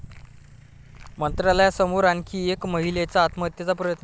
मंत्रालयासमोर आणखी एका महिलेचा आत्महत्येचा प्रयत्न